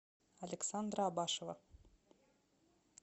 александра абашева